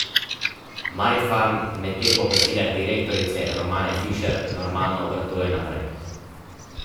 Marifarm medtem po besedah direktorice Romane Fišer normalno obratuje naprej.